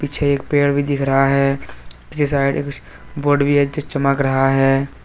एक पेड़ भी दिख रहा है पीछे साइड बोर्ड भी है जो चमक रहा है।